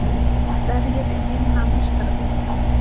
Hverjir vinna Meistaradeildina?